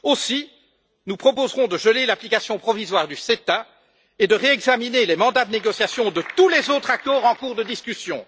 Aussi, nous proposerons de geler l'application provisoire du CETA et de réexaminer les mandats de négociation de tous les autres accords en cours de discussion.